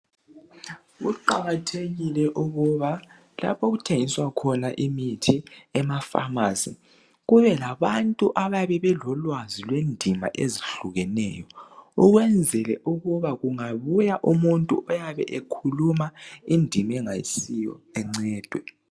Kuqakathekile ukuba lapho okuthengiswa khona imithi emafamasi kube labantu abayabe belolwazi lwendimi ozehlukeneyo ukwenzela ukuba kungabuya umuntu iyabe ekhuluma indimi engayisiyo encedwe